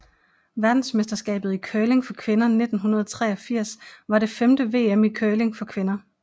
Verdensmesterskabet i curling for kvinder 1983 var det femte VM i curling for kvinder